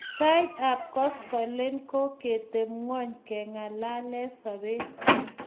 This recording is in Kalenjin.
Sait ap koskoling ko kogitepng'ony keng'alale sobet